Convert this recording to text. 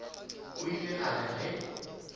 o ile a re ge